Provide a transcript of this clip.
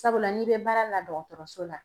Sabula n'i bɛ baara la dɔgɔtɔrɔso la